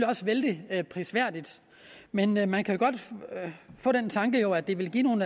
også vældig prisværdigt men men man kan godt få den tanke at det vil give nogle